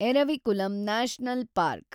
Eravikulam national park